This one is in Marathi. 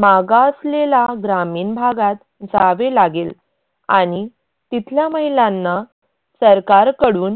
मागासलेला ग्रामीण भागात जावे लागेल आणि तिथल्या महिलांना सरकारकडून